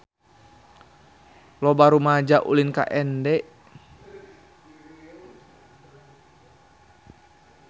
Loba rumaja ulin ka Ende